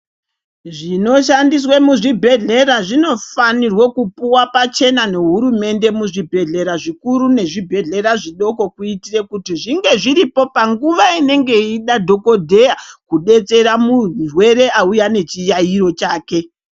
Zvinoshandiswa muzvibhehlera zvinofanirwe kupuwa pachena nehurumende muzvibhehlera zvikuru nezvibhehlera zvidoko kuitira kuti zvinge zviripo panguva inenge yeidadhokodheya kudetsera munhu murwere auyanechiraiyo chake.